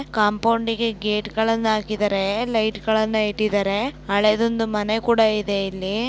ಕಾಂಪೌಂಡಿಗೆ ಗೇಟ್ಗಳ್ಳನ್ನ ಹಾಕ್ಕಿದ್ದಾರೆ ಲೈಟ್ಗಳ್ಳನ್ನ ಇಟ್ಟಿದ್ದಾರೆ ಹಳೆದೊಂದು ಮನೆ ಕೂಡ ಇದೆ ಇಲ್ಲಿ.